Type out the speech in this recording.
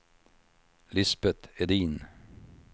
Lisbeth Edin